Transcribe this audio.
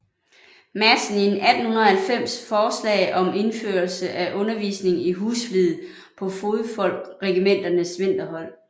Madsen i 1890 forslag om indførelse af undervisning i husflid på fodfolkregimenternes vinterhold